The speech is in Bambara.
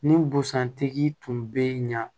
Ni busan tigi tun bɛ ɲa